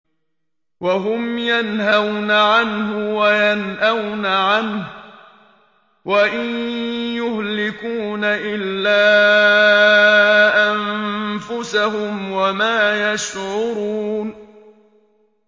وَهُمْ يَنْهَوْنَ عَنْهُ وَيَنْأَوْنَ عَنْهُ ۖ وَإِن يُهْلِكُونَ إِلَّا أَنفُسَهُمْ وَمَا يَشْعُرُونَ